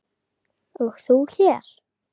og þú hér?